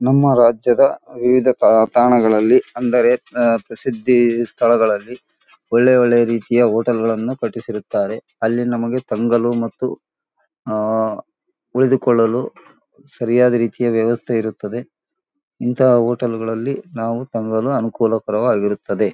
ನಮ್ಮ ರಾಜ್ಯದ ವಿವಿಧ ತಾ ತಾಣಗಳಲ್ಲಿ ಅಂದರೆ ಪ್ರಸಿದ್ಧಿ ಸ್ಥಳಗಳಲ್ಲಿ ಒಳ್ಳೆ ಒಳ್ಳೆ ರೀತಿಯ ಹೋಟೆಲ್ ಗಳನ್ನು ಕಟ್ಟಿಸಿರುತ್ತಾರೆ ಅಲ್ಲಿ ನಮಗೆ ತಂಗಲು ಮತ್ತು ಉಳಿದುಕೊಳ್ಳಲು ಸರಿಯಾದ ರೀತಿಯ ವ್ಯವಸ್ಥೆ ಇರುತ್ತದೆ ಇಂಥ ಹೋಟೆಲ್ ಗಳಲ್ಲಿ ನಮಗೆ ತಂಗಲು ಅನುಕೂಲಕರವಾಗಿರುತ್ತದೆ.